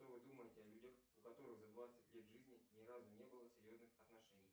что вы думаете о людях у которых за двадцать лет жизни ни разу не было серьезных отношений